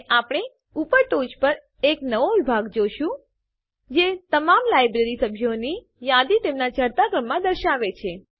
અને આપણે ઉપર ટોંચ પર એક નવો વિભાગ જોઈશું જે તમામ લાઈબ્રેરી સભ્યોની યાદી તેમના ચઢતા ક્રમમાં દર્શાવશે